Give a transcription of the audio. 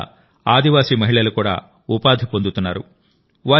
దీనివల్ల ఆదివాసీ మహిళలు కూడా ఉపాధి పొందుతున్నారు